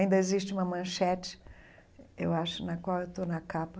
Ainda existe uma manchete, eu acho, na qual eu estou na capa.